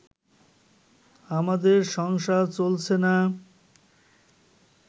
আমাদের সংসার চলছে না